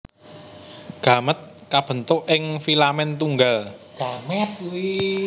Gamèt kabentuk ing filamen tunggal